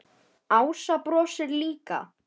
Ása brosir líka.